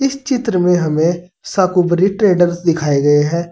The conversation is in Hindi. चित्र में हमें शाकंभरी ट्रेडर्स दिखाए गए हैं।